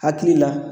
Hakili la